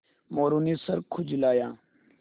मोरू ने सर खुजलाया